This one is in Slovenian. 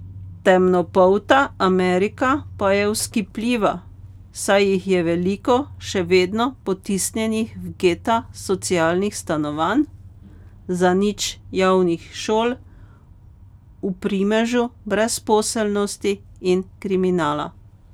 Temnopolta Amerika pa je vzkipljiva, saj jih je veliko še vedno potisnjenih v geta socialnih stanovanj, zanič javnih šol, v primežu brezposelnosti in kriminala.